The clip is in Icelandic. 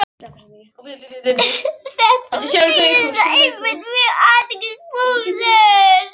Þetta síðasta er einmitt mjög athyglisverður punktur.